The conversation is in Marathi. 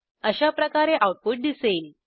अशाप्रकारे आऊटपुट दिसेल